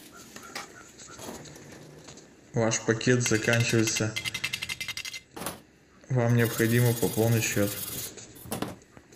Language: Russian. ваш пакет заканчивается вам необходимо пополнить счет